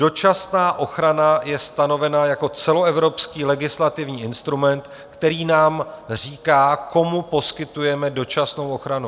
Dočasná ochrana je stanovená jako celoevropský legislativní instrument, který nám říká, komu poskytujeme dočasnou ochranu.